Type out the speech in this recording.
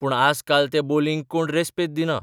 पूण आजकाल त्या बोलींक कोण रेस्पेद दिना.